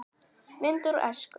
Myndir úr æsku.